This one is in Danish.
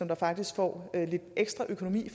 der faktisk får lidt ekstra økonomi